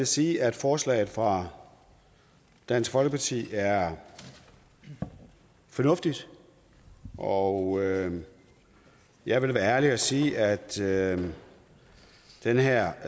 sige at forslaget fra dansk folkeparti er fornuftigt og jeg vil være ærlig og sige at sige at den her